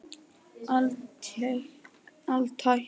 Alltént hingað til.